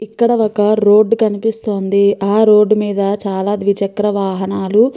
ఇక్కడ ఒక రోడ్డు కనిపిస్తోంది. ఆ రోడ్డు మీద చాలా ద్విచక్ర వాహనాలు --